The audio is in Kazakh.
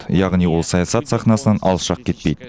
яғни ол саясат сахнасынан алшақ кетпейді